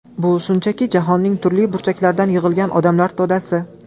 Bu shunchaki jahonning turli burchaklaridan yig‘ilgan odamlar to‘dasi.